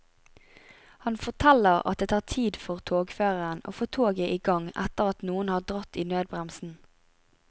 Han forteller at det tar tid for togføreren å få toget i gang etter at noen har dratt i nødbremsen.